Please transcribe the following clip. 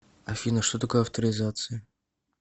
афина что такое авторизация